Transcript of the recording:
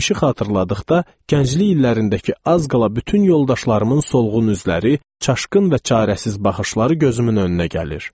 Keçmişi xatırladıqda gənclik illərindəki az qala bütün yoldaşlarımın solğun üzləri, çaşqın və çarəsiz baxışları gözümün önünə gəlir.